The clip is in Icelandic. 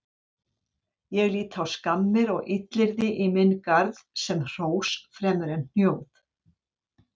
Ég lít á skammir og illyrði í minn garð sem hrós fremur en hnjóð.